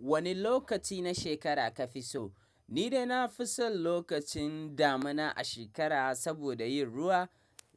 Wane lokaci na shekara kafi so? Ni dai na fi son lokacin damuna a shekara saboda yin ruwa.